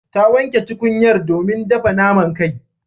Ta wanke tukunyar domin dafa naman kai.